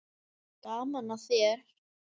Gaman að þér!